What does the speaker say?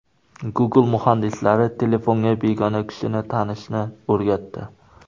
Google muhandislari telefonga begona kishini tanishni o‘rgatdi.